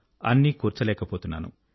అన్నీ కూర్చలేకపోతున్నాను